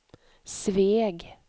Sveg